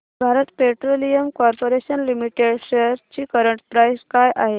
Bharat petroleum corporation limited shares ची current price काय आहे